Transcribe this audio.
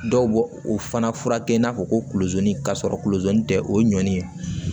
Dɔw b'o o fana furakɛ i n'a fɔ kolo zoni ka sɔrɔ kulo goni tɛ o ye ɲɔni ye